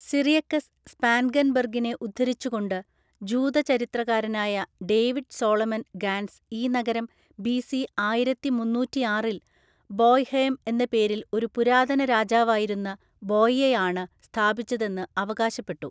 Cyriacus സ്പാൻഗെൻബെർഗിനെ ഉദ്ധരിച്ചു കൊണ്ട് ജൂത ചരിത്രകാരനായ ഡേവിഡ് സോളമൻ ഗാൻസ് ഈ നഗരം ബിസി ആയിരത്തിമുന്നൂറ്റിആറില്‍ ബോയ്‌ഹേം എന്ന പേരിൽ ഒരു പുരാതന രാജാവായിരുന്ന ബോയിയയാണ് സ്ഥാപിച്ചതെന്ന് അവകാശപ്പെട്ടു.